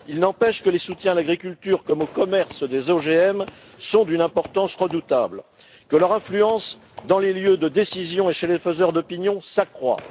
Il n'empêche que les soutiens à l'agriculture comme au commerce des OGM sont d'une importance redoutable, que leur influence dans les lieux de décision et chez les faiseurs d'opinion s'accroît.